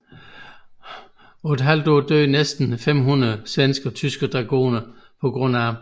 På et halvt år døde næsten 500 svenske og tyske dragoner pga